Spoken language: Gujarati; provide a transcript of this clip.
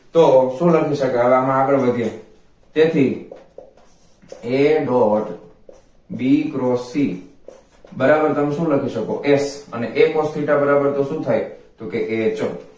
તો શું લખી શકાય હવે આમા આગળ વધીએ તેથી a dot b cross c બરાબર તમશુ લખી સકો a અને a cross theta બરાબર શુ થાય તો કે h